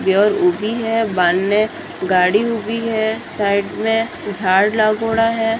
ऊबी है वांने गाड़ी उभी है साइड में झाड़ लागोडा है।